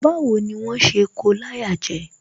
Báwo ni wón ṣe ko láyà jẹ?